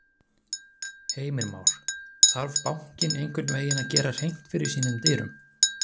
Heimir Már: Þarf bankinn einhvern veginn að gera hreint fyrir sínum dyrum?